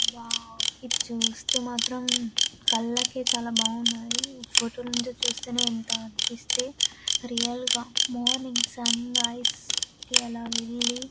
Wow ఇది చూస్తే మాత్రం కళ్ళకి చాలా బావున్నాయి. ఫొటోలో నుంచి చూస్తేనే ఇంత అనిపిస్తే రియల్ గా మార్నింగ్ సన్ రైజ్ కి అలా వెళ్ళి--